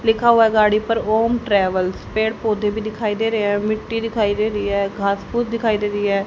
लिखा हुआ गाड़ी पर ओम ट्रैवल्स पेड़ पौधे भी दिखाई दे रहे हैं मिट्टी दिखाई दे रही है खास फूस दिखाई दे रही है।